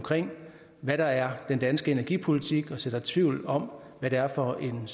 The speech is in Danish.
hvad der er den danske energipolitik og sår tvivl om hvad det er for en